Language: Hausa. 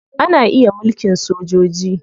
Ana iya mulkin sojoji.